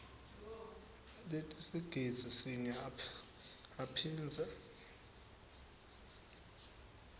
letisigidzi sinye aphindze